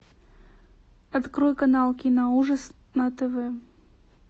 открой канал киноужас на тв